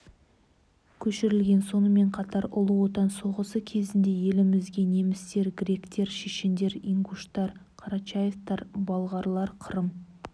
көшірілген сонымен қатар ұлы отан соғысы кезінде елімізге немістер гректер шешендер ингуштар қарачаевтар балғарлар қырым